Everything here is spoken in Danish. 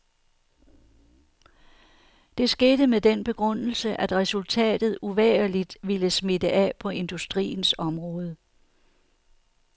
Det skete med den begrundelse, at resultatet uvægerligt ville smitte af på industriens område.